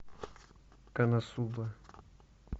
коносуба